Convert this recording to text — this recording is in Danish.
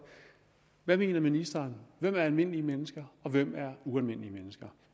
hvad mener ministeren hvem er almindelige mennesker og hvem er ualmindelige mennesker